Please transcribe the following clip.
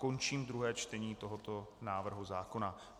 Končím druhé čtení tohoto návrhu zákona.